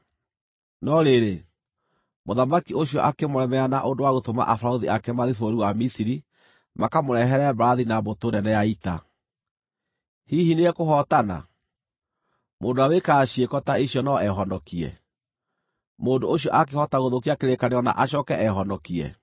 No rĩrĩ, mũthamaki ũcio akĩmũremera na ũndũ wa gũtũma abarũthi ake mathiĩ bũrũri wa Misiri makamũrehere mbarathi na mbũtũ nene ya ita. Hihi nĩekũhootana? Mũndũ ũrĩa wĩkaga ciĩko ta icio no ehonokie? Mũndũ ũcio aakĩhota gũthũkia kĩrĩkanĩro na acooke ehonokie?